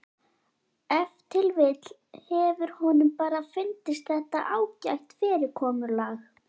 Ef til vill hefur honum bara fundist þetta ágætt fyrirkomulag.